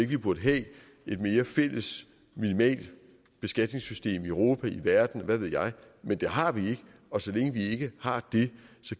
vi burde have et mere fælles minimalt beskatningssystem i europa i verden hvad ved jeg men det har vi ikke og så længe vi ikke har det